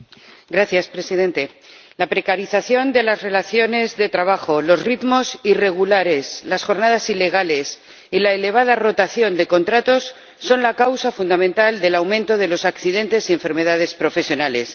Señor Presidente, la precarización de las relaciones de trabajo, los ritmos irregulares, las jornadas ilegales y la elevada rotación de contratos son la causa fundamental del aumento de los accidentes y enfermedades profesionales.